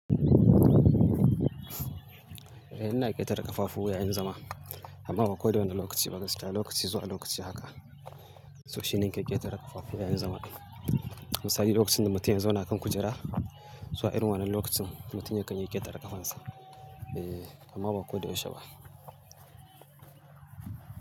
Eh ina ƙetare ƙafafu yayin zama. Amma ba koda wani lokaci ba gaskiya lokaci zuwa lokaci haka. So shine nake ƙetare ƙafafu yayin zama. Misali lokacin da mutum ya zauna kan kujera, zuwa irin wannan lokacin mutum yakan iya ƙetare ƙafansa. E, amma ba ko da yaushe ba.